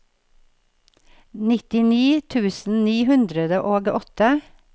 nittini tusen ni hundre og åtte